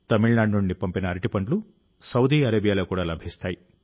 తమిళనాడు నుండి పంపిన అరటిపండ్లు సౌదీ అరేబియాలో కూడా లభిస్తాయి